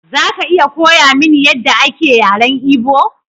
Za ka iya koya mini yadda ake yaren Igbo?